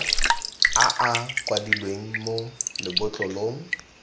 a a kwadilweng mo lebotlolong